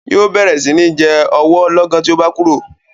Yóò bẹ̀rẹ̀ sí ní jẹ ọwọ́ lọ́gán tí o bá kúrò.